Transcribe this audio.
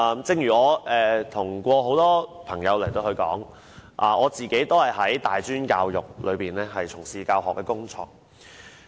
正如我跟多位朋友說過，我自己也是從事大專教學工作。